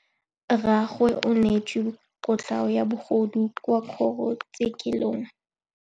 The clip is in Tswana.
Rragwe o neetswe kotlhaô ya bogodu kwa kgoro tshêkêlông.